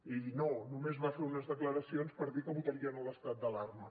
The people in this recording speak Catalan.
i no només va fer unes declaracions per dir que votaria no a l’estat d’alarma